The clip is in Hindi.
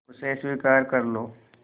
उसे स्वीकार कर लो